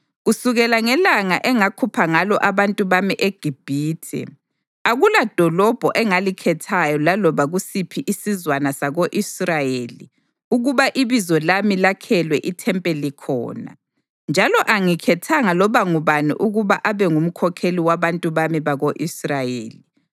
‘Kusukela ngelanga engakhupha ngalo abantu bami eGibhithe, akuladolobho engalikhethayo laloba kusiphi isizwana sako-Israyeli, ukuba iBizo lami lakhelwe ithempeli khona, njalo angikhethanga loba ngubani ukuba abe ngumkhokheli wabantu bami bako-Israyeli.